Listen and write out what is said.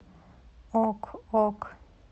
ок ок